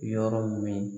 Yɔrɔ min